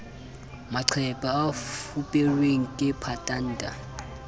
maqephe a fuperweng ke patanta